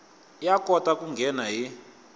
ya kota ku nghena hi